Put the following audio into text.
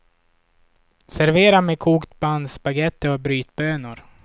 Servera med kokt bandspagetti och brytbönor.